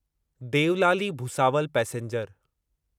Deolali Bhusawal passenger